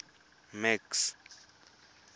max